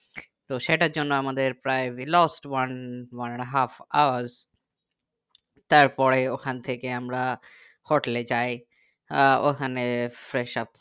তো সেটার জন্য আমাদের প্রায় we lost one one and a half hours তারপরে ওখান থেকে আমরা হোটেলে যাই আহ ওখানে freshup